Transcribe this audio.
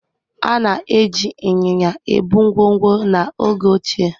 Ana eji ịnyịnya ebu ngwongwo n'oge ochie.